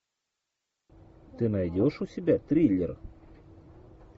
ты найдешь у себя триллер